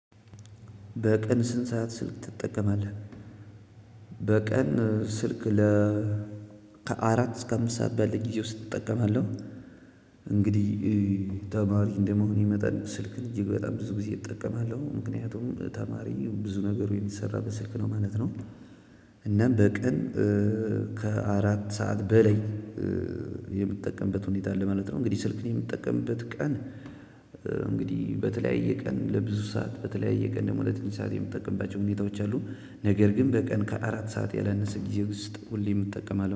በቀን ስንት ሰዓት ስልክ ትጠቀማለህ? በቀን ስልክ ለ ከአራት እስከ አምስት ባለ ጊዜ ውስጥ እጠቀማለሁ። እንግዲህ ተማሪ እንደመሆኔ መጠን ስልክ እጅግ በጣም ብዙ ጊዜ እጠቀማለሁ ምክንያቱም ተማሪ ብዙ ነገሩ የሚሰራበት በ ስልክ ነው ማለት ነው። እና በቀን ከ አራት ሰዓት በላይ የምጠቀምበት ሁኔታአለ ማለት ነው በተለያየ ቀን ለብዙ ሰዓት በተለያየ ቀን ደግሞ ትንሽ ሰዓት የምጠቀምባቸው ሁኔታወች አሉ ነገር ግን በቀን ከ አራት ሰዓት ያላነሰ ጊዜ ውስጥ ሁሌም እጠቀማለሁ